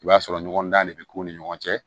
I b'a sɔrɔ ɲɔgɔn dan de bɛ k'u ni ɲɔgɔn cɛ